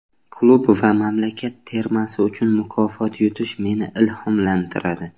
Klub va mamlakat termasi uchun mukofot yutish meni ilhomlantiradi.